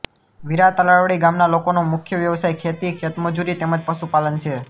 વીરા તલાવડી ગામના લોકોનો મુખ્ય વ્યવસાય ખેતી ખેતમજૂરી તેમ જ પશુપાલન છે